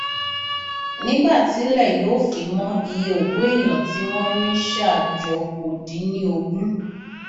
nígbà tílẹ yóò fi mọ iye òkú èèyàn tí wọn rí ṣà jọ kó dín ní ogún